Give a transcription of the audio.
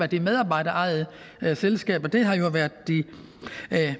de medarbejderejede selskaber det har været de